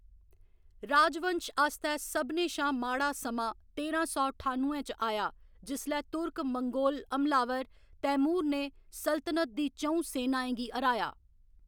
राजवंश आस्तै सभनें शा माड़ा समां तेरां सौ ठानुए च आया, जिसलै तुर्क मंगोल हमलावर, तैमूर ने सल्तनत दी च'ऊं सेनाएं गी हराया।